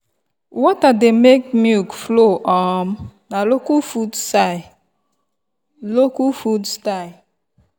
water dey make milk flow um na local food style. local food style.